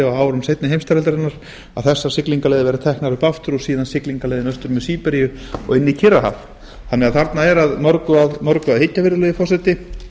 á árum seinni heimsstyrjaldarinnar að þessar siglingaleiðin verði teknar up aftur og síðan siglingarleiðin austur með síberíu og inn í kyrrahaf þarna er því að mörgu að hyggja virðulegi forseti